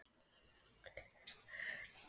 Síðan brýndi hann raustina og sagði: